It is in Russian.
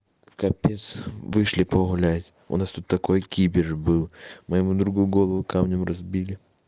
капец вышли погулять у нас тут такой кипиш был моему другу голову камнем разбили